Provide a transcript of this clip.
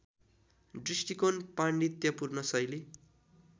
दृष्टिकोण पाण्डित्यपूर्ण शैली